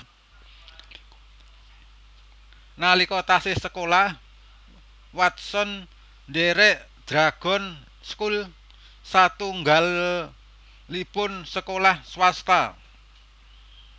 Nalika taksih sekolah Watson ndhèrèk Dragon School satunggalipun sekolah swasta